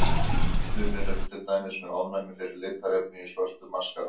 Sumir eru til dæmis með ofnæmi fyrir litarefni í svörtum maskara.